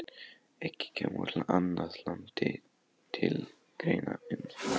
Ekki kemur annað land til greina en Frakkland.